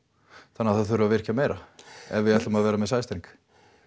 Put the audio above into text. þannig að það þurfi að virkja meira ef við ætlum að vera með sæstreng